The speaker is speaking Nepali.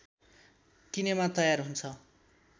किनेमा तयार हुन्छ